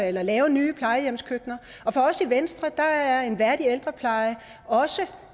eller lave nye plejehjemskøkkener til og for os i venstre er en værdig ældrepleje også